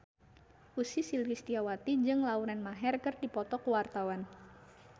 Ussy Sulistyawati jeung Lauren Maher keur dipoto ku wartawan